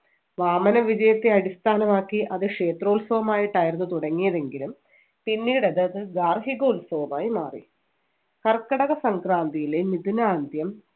വാമന വിജയത്തെ അടിസ്ഥാനമാക്കി അത് ക്ഷേത്രോത്സവമായിട്ടായിരുന്നു തുടങ്ങിയതെങ്കിലും പിന്നീട് അത് ഗാർഹിക ഉത്സവമായി മാറി. കർക്കിടക സംക്രാന്തിയിലെ മിഥുനാന്ത്യം